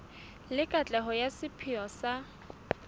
le katleho ya sepheo sa